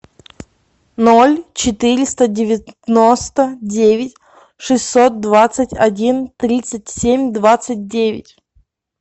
ноль четыреста девяносто девять шестьсот двадцать один тридцать семь двадцать девять